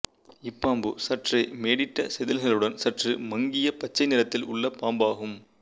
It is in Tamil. இப்பாம்பு சற்றே மேடிட்ட செதில்களுடன் சற்று மங்கிய பச்சை நிறத்தில் உள்ளபாம்பு ஆகும்